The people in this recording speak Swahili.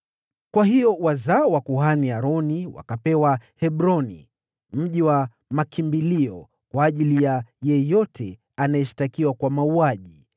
Kwa hiyo wazao wa kuhani Aroni wakapewa Hebroni (mji mkuu wa makimbilio kwa ajili ya yeyote aliyeshtakiwa kwa mauaji), Libna,